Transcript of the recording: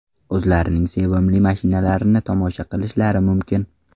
o‘zlarining sevimli mashinalarini tomosha qilishlari mumkin.